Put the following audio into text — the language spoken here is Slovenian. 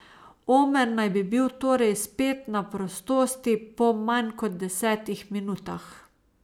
Omer naj bi bil torej spet na prostosti po manj kot desetih minutah.